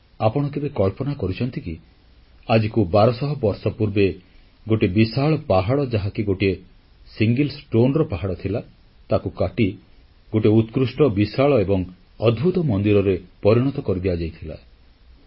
କିନ୍ତୁ ଆପଣ କେବେ କଳ୍ପନା କରିଛନ୍ତି କି ଆଜିକୁ ବାରଶହ ବର୍ଷ ପୂର୍ବେ ଗୋଟିଏ ବିଶାଳ ପାହାଡ଼ ଯାହାକି ଗୋଟିଏ ପଥରର ପାହାଡ଼ ଥିଲା ତାକୁ କାଟି ଗୋଟିଏ ଉତ୍କୃଷ୍ଟ ବିଶାଳ ଏବଂ ଅଦ୍ଭୁତ ମନ୍ଦିରରେ ପରିଣତ କରିଦିଆଯାଇଥିଲା